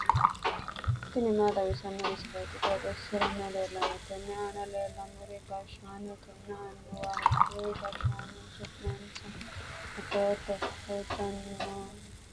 tini maa xawissanno misileeti? qooxeessisera may leellanno? tenne aana leellannori gashshaanotenna annuwaho kuri gashshaano su'manssa afootto? loosinsa maati? insa mamii mannaati?